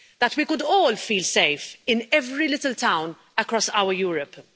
That we could all feel safe in every little town across our Europe.